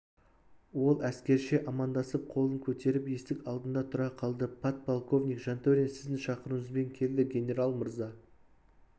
ол әскерше амандасып қолын көтеріп есік алдында тұра қалды подполковник жантөрин сіздің шақыруыңызбен келді генерал мырза